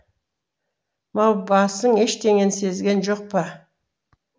маубасың ештеңені сезген жоқ па